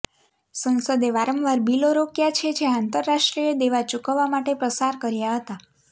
સંસદે વારંવાર બિલો રોક્યા છે જે આંતરરાષ્ટ્રીય દેવા ચૂકવવા માટે પસાર કર્યા હતા